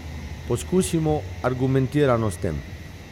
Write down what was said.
Pokusimo argumentirano s tem.